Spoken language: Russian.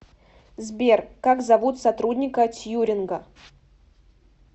сбер как зовут сотрудника тьюринга